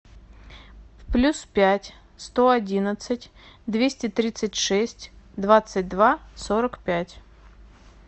плюс пять сто одиннадцать двести тридцать шесть двадцать два сорок пять